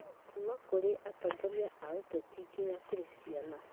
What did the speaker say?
Kuuma kũrĩ atongoria a kĩũteti nginya kũrĩ ciana